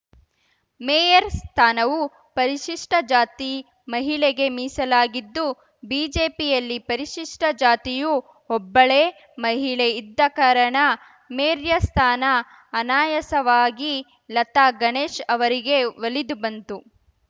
mayor ಸ್ಥಾನವು ಪರಿಶಿಷ್ಟಜಾತಿ ಮಹಿಳೆಗೆ ಮೀಸಲಾಗಿದ್ದು ಬಿಜೆಪಿಯಲ್ಲಿ ಪರಿಶಿಷ್ಟಜಾತಿಯು ಒಬ್ಬಳೇ ಮಹಿಳೆ ಇದ್ದ ಕಾರಣ ಮೇರ್ಯ ಸ್ಥಾನ ಅನಾಯಾಸವಾಗಿ ಲತಾ ಗಣೇಶ್‌ ಅವರಿಗೆ ಒಲಿದು ಬಂತು